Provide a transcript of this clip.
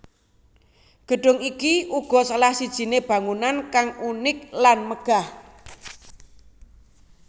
Gedung iki uga salah sijine bangunan kang unik lan megah